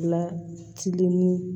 Lacilen